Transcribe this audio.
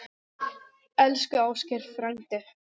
Elsku Ásgeir frændi.